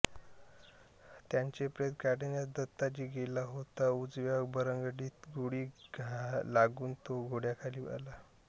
त्याचें प्रेत काढण्यास दत्ताजी गेला तों उजव्या बरगडींत गोळी लागून तो घोड्याखाली आला